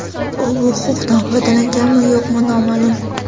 U bu huquqdan foydalanganmi yoki yo‘q noma’lum.